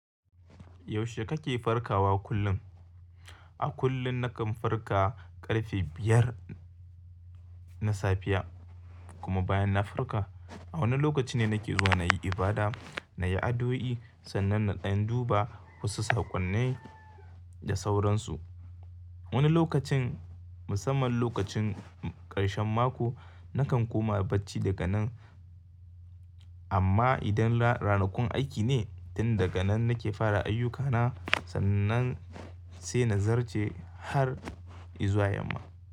Yaushe kake farkawa kullum? A kullum na kan farka ƙarfe biyar na safiya kuma bayan na farka, a wannan lokaci ne nake zuwa na yi ibada, na yi addu'oi sannan na ɗan duba wasu saƙonnai da sauransu. Wani lokacin, musamman lokacin karshen mako, na kan koma barci daga nan. Amma idan ranakun aiki ne, tin daga nan nake fara ayyukana sannan sai na zarje har izuwa yamma.